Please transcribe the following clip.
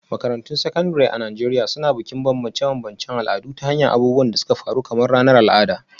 Makarantun Sakandare a Najeriya Suna Bukin bambance-bambancen al'adu ta hanyar abubuwan da suka faru kamar ranar al'ada.